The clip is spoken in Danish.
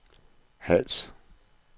Hals